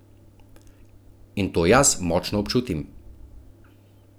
In to jaz močno občutim.